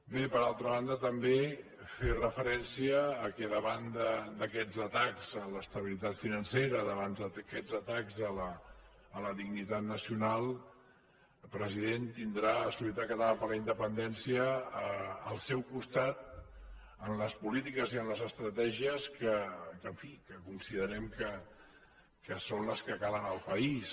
bé per altra banda també fer referència que davant d’aquests atacs a l’estabilitat financera davant d’aquests atacs a la dignitat nacional president tindrà solidaritat catalana per la independència al seu costat en les polítiques i en les estratègies que en fi que considerem que són les que calen al país